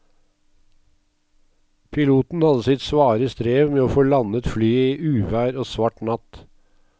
Piloten hadde sitt svare strev med å få landet flyet i uvær og svart natt.